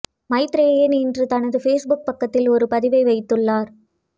மைத்ரேயன் இன்று தனது பேஸ்புக் பக்கத்தில் ஒரு பதிவை வைத்துள்ளார்